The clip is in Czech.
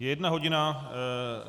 Je jedna hodina.